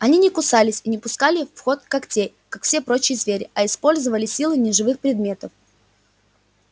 они не кусались и не пускали в ход когтей как все прочие звери а использовали силы неживых предметов